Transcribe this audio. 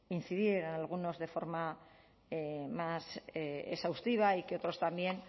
incidir en algunos de forma más exhaustiva y que otros también